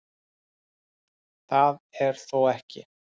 Það er þó ekki